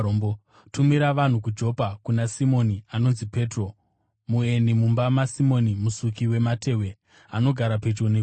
Tumira vanhu kuJopa kuna Simoni anonzi Petro. Mueni mumba maSimoni musuki wamatehwe, anogara pedyo negungwa.’